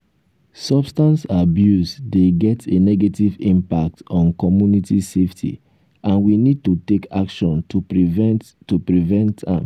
substance abuse dey get a negative impact on community safety and we need to take action to prevent to prevent am.